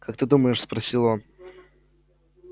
как ты думаешь спросил он